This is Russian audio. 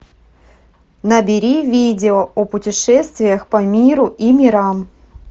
набери видео о путешествиях по миру и мирам